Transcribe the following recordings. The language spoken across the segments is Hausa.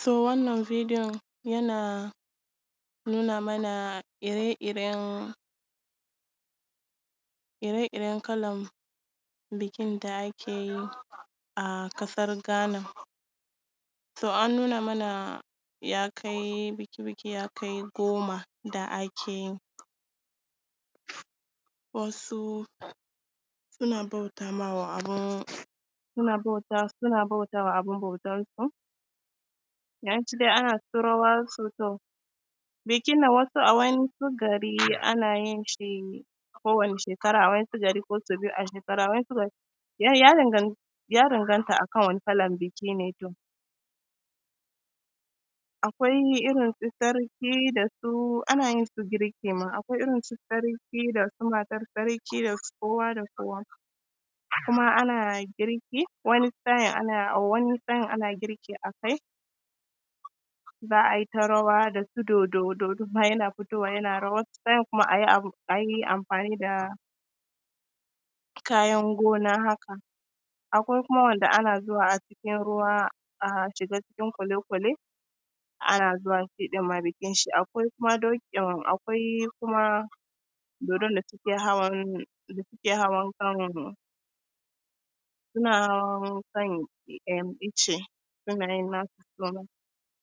So wannan bidiyon yana nuna mana ire-iren, ire-iren kalan bikin da ake yi a ƙasar Ghana. So an nuna mana ya kai biki biki ya kai goma da ake yi. Wasu suna bauta ma wa abin, suna sana bautawa abin bautansu, ana ta rawa, bikin na wasu a wani gari ana yin shi, kowane shekara, a wasu gari ko so biyu a shekara, wa'yansu ya dangan ya danganta a kan wani kalan biki ne to. Akwai irin su sarki da su, ana yin su girki ma, akwai irin su sarki da matan sarki da kowa da kowa. Kuma a girki, wani sa’in ana girki a kai za ai ta rawa da su dododo yana fitowa yana rawa, wasu sa’iin kuma a yi amfani da, kayan gona haka. Akwai kuma wanda ake zuwa a cikin ruwa a shiga cikin kwalekwale, ana zuwa shi ma ɗin bikin shi, akwai kuma doki akwai kuma dodon da suke hawa da suke hawankan, suna hawan kan ice suna yinayin nasu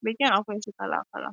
bikin akwai shi kala-kala.